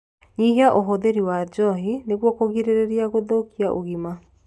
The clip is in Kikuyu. Nyihia ũhũthĩri wa njohi nĩguo kũgirĩrĩria gũthũkia ũgima